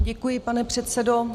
Děkuji, pane předsedo.